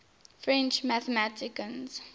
french mathematicians